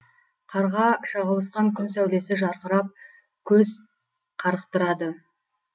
қарға шағылысқан күн сәулесі жарқырап көз қарықтырады